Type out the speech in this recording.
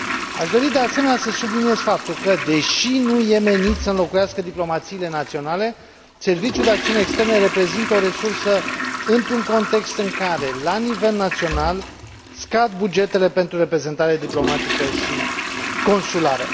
Aș dori, de asemenea, să subliniez faptul că, deși nu e menit să înlocuiască diplomațiile naționale, Serviciul de Acțiune Externă reprezintă o resursă într un context în care, la nivel național, scad bugetele pentru reprezentare diplomatică și consulară.